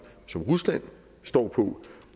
som rusland står på